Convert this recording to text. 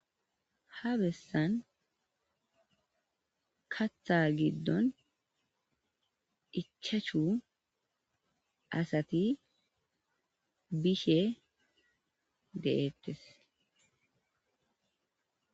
Haa bessanni kaththa giddonni ichachu asati be'ishshe de'etees.